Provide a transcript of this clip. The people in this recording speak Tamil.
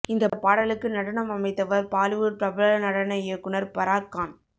இந்த பாடலுக்கு நடனம் அமைத்தவர் பாலிவுட் பிரபல நடன இயக்குனர் பராக் கான்